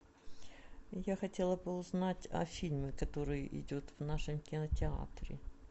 я хотела бы узнать о фильме который идет в нашем кинотеатре